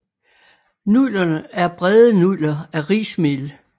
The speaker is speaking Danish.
Nudlerne er brede nudler af rismel